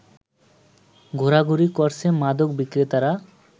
ঘোরাঘুরি করছে মাদক বিক্রেতারা